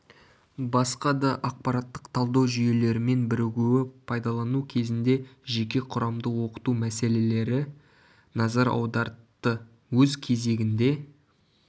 басқа да ақпараттық-талдау жүйелерімен бірігуі пайдалану кезінде жеке құрамды оқыту мәселелері назар аудартты өз кезегінде